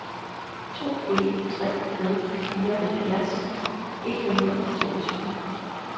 to en tre nul fireoghalvfjerds et hundrede og toogtyve